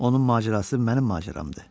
Onun macərası mənim macəramdır.